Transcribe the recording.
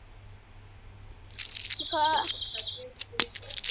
Það ætti að stinga.